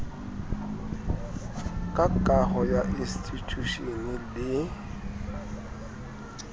ka kaho ya institjhushene le